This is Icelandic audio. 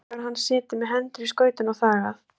Og þá hefur hann setið með hendur í skauti og þagað.